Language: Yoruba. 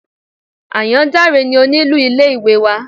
Àyàndáre ni onílù ilé ìwé wa.